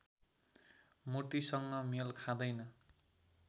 मूर्तिसँग मेल खाँदैन